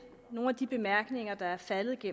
nogle af de bemærkninger der er faldet i